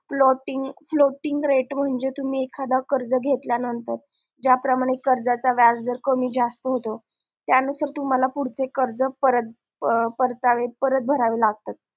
floating rate म्हणजे तुम्ही एखादा कर्ज घेतल्या नंतर ज्या प्रमाणे कर्जाच्या व्याज दर कमी जास्त होतो त्या नंतर तूम्हाला पुढचे कर्ज परत भरावे लागतात